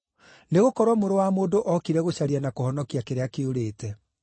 Nĩgũkorwo Mũrũ wa Mũndũ ookire gũcaria na kũhonokia kĩrĩa kĩũrĩte.”